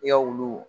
I ka wulu